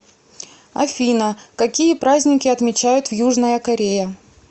афина какие праздники отмечают в южная корея